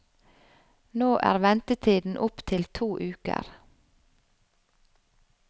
Nå er ventetiden opp til to uker.